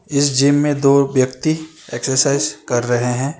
इस जिम में दो व्यक्ति एक्सरसाइज कर रहे हैं।